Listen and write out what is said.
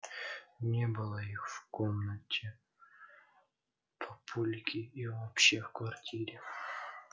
не было их и в комнате папульки и вообще в квартире